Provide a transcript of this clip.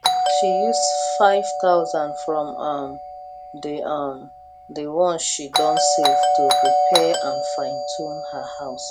she use 5000 from um the um the one she don save to repair and finetune her house